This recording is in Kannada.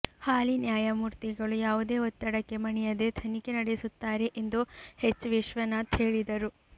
ಹಾಲಿ ನ್ಯಾಯಮೂರ್ತಿಗಳು ಯಾವುದೇ ಒತ್ತಡಕ್ಕೆ ಮಣಿಯದೆ ತನಿಖೆ ನಡೆಸುತ್ತಾರೆ ಎಂದು ಹೆಚ್ ವಿಶ್ವನಾಥ್ ಹೇಳಿದರು